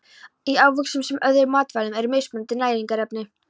Í ávöxtum sem öðrum matvælum eru mismunandi næringarefni.